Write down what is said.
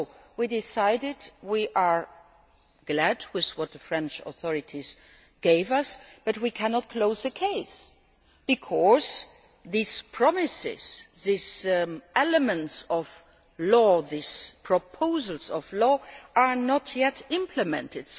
We decided we are happy with what the French authorities gave us, but we cannot close the case, because these promises, these elements of law, these proposed laws, are not yet implemented.